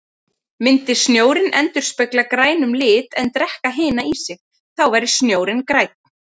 Myndi snjórinn endurspegla grænum lit en drekka hina í sig, þá væri snjórinn grænn.